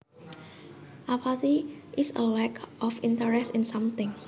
Apathy is a lack of interest in something